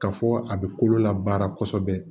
Ka fɔ a be kolo la baara kosɛbɛ